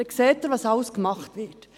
Dann sehen Sie, was alles getan wird.